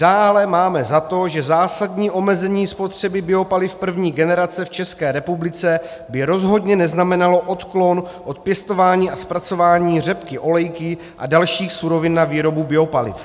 "Dále máme za to, že zásadní omezení spotřeby biopaliv první generace v České republice by rozhodně neznamenalo odklon od pěstování a zpracování řepky olejky a dalších surovin na výrobu biopaliv."